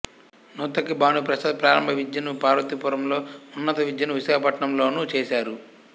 నూతక్కి భానుప్రసాద్ ప్రారంభవిద్యను పార్వతీపురంలో ఉన్నత విద్యను విశాఖపట్టణం లోనూ చేసారు